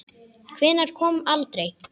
Hvenær kom aldrei.